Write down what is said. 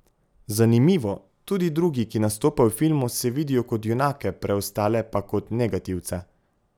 Zanimivo, tudi drugi, ki nastopajo v filmu, se vidijo kot junake, preostale pa kot negativce.